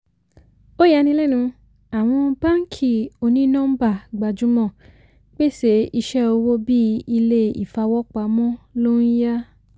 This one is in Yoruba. ó yanilẹ́nu àwọn báàǹkì òní-nọ́ḿbà gbajúmò pèsè iṣẹ owó bí ilé-ìfawọ́pamọ́ ló ń yá.